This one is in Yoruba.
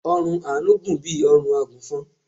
ọrùn Anu gùn bí órùn agùnfọn